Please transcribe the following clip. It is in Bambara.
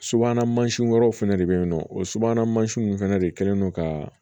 Subahana mansinw fɛnɛ de bɛ yen nɔ o subahana mansinw fana de kɛlen don ka